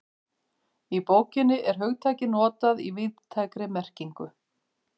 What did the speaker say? Í bókinni er hugtakið notað í víðtækri merkingu.